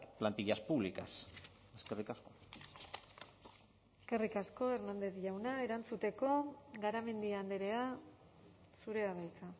plantillas públicas eskerrik asko eskerrik asko hernández jauna erantzuteko garamendi andrea zurea da hitza